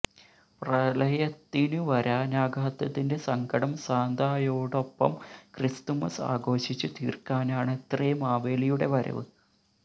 പ്രളയത്തിനു വരാനാകാത്തതിന്റെ സങ്കടം സാന്തായോടൊപ്പം ക്രിസ്തുമസ് ആഘോഷിച്ച് തീർക്കാനാണത്രേ മാവേലിയുടെ വരവ്